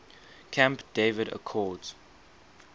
camp david accords